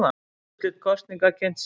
Úrslit kosninga kynnt síðdegis